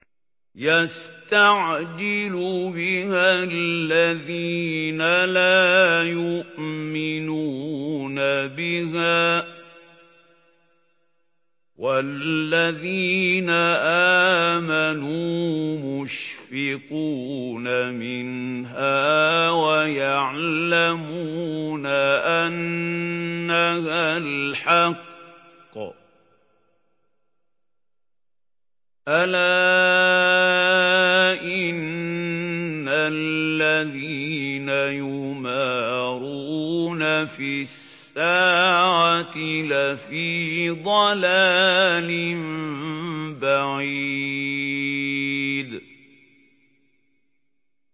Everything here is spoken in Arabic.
يَسْتَعْجِلُ بِهَا الَّذِينَ لَا يُؤْمِنُونَ بِهَا ۖ وَالَّذِينَ آمَنُوا مُشْفِقُونَ مِنْهَا وَيَعْلَمُونَ أَنَّهَا الْحَقُّ ۗ أَلَا إِنَّ الَّذِينَ يُمَارُونَ فِي السَّاعَةِ لَفِي ضَلَالٍ بَعِيدٍ